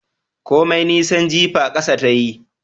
Komai nisan jifa kasa ta yi